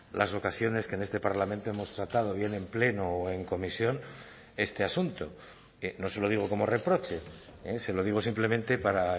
las ocasiones que en este parlamento hemos tratado bien en pleno o en comisión este asunto no se lo digo como reproche se lo digo simplemente para